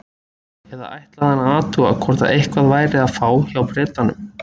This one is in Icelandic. Eða ætlaði hann að athuga hvort eitthvað væri að fá hjá Bretanum?